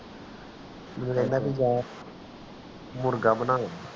ਮੁਰਗਾ ਬਣਾਵਾਂਗੇ